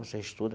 Você estuda?